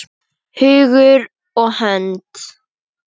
Hugur og hönd.